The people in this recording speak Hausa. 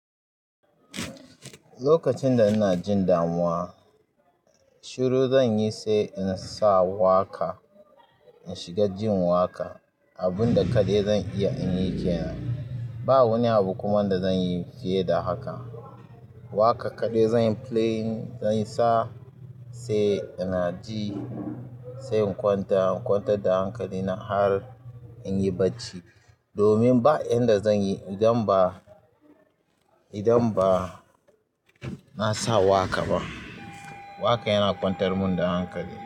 Lokacin da ina jin damuwa, shiru zan yi sai in sa waƙa, in shiga jin waƙa. Abun da kaɗai zan iya in yi kenan. Ba wani abu kuma da zan yi fiye da haka. Waƙa kaɗai zanyi playing, zansa sai ina ji sai in kwanta. In kwantar da hankali na har in yi bacci. Domin ba yanda zan yi idan ba, idan ba na sa waƙa ba. Waƙa yana kwantar mun da hankali.